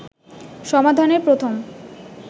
সমাধানের প্রথম